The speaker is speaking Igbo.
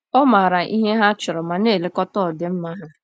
Ọ maara ihe ha chọrọ ma na-elekọta ọdịmma ha.